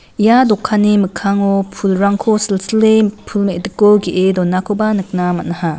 ia dokanni mikkango pulrangko silsile pul mediko ge·e donakoba nikna man·aha.